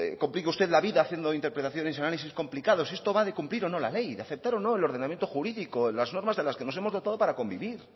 complique usted la vida haciendo interpretaciones y análisis complicados esto va de cumplir o no la ley de aceptar o no el ordenamiento jurídico las normas de las que nos hemos dotado para convivir